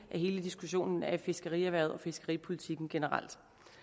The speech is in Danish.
hele diskussionen af fiskerierhvervet og fiskeripolitikken generelt